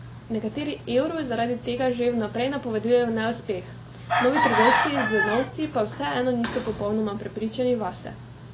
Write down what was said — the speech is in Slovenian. Nekateri evru zaradi tega že vnaprej napovedujejo neuspeh, novi trgovci z novci pa vseeno niso popolnoma prepričani vase.